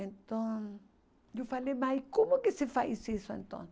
Então, eu falei, mãe, como que se faz isso então